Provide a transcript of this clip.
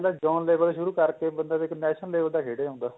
down level ਸ਼ੁਰੂ ਕਰਕੇ ਬੰਦਾ national level ਤੱਕ ਖੇਡ ਜਾਂਦਾ